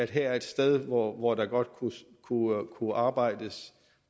her er et sted hvor hvor der godt kunne arbejdes